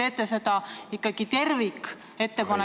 Kas te teete ikkagi tervikettepaneku ...